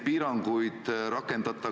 Nii et eks kuskile tuleb see mõistlik piir tõmmata.